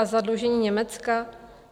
A zadlužení Německa?